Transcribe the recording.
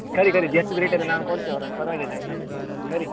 ಕರಿ ಕರಿ just ನಾನ್ ಕೊಡ್ತೆ ಅವರದ್ದು ಪರವಾಗಿಲ್ಲ ಆಯ್ತಾ ಕರಿ.